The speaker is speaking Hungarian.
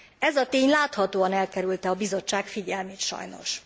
Ez a tény láthatóan elkerülte a Bizottság figyelmét sajnos.